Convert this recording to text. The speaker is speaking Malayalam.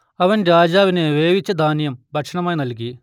അവൻ രാജാവിന് വേവിച്ച ധാന്യം ഭക്ഷണമായി നൽകി